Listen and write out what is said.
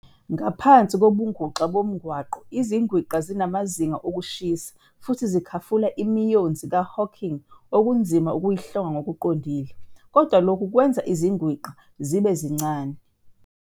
Ngaphansi kobuNguxa boMngako iziGwinqa zinamazinga okushisa futhi zikhafula imiyonzi kaHawking okunzima okuyihlonga ngokuqondile, kodwa lokhu kwenza iziGwinqa zibe zincane.